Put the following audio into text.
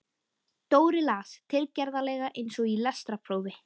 Dóri las, tilgerðarlega eins og í lestrarprófi